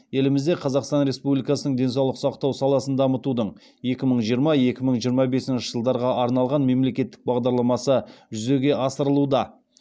елімізде қазақстан республикасының денсаулық сақтау саласын дамытудың екі мың жиырма екі мың жиырма бесінші жылдарға арналған мемлекеттік бағдарламасы жүзеге асырылуда